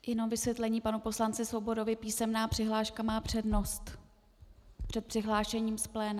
Jenom vysvětlení panu poslanci Svobodovi - písemná přihláška má přednost před přihlášením z pléna.